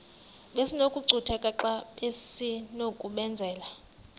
besinokucutheka xa besinokubenzela